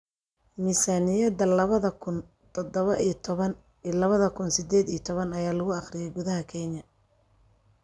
Miisaaniyadda labada kun tadabo iyo toban iyo labada kun sideed iyo toban ayaa lagu akhriyay gudaha Kenya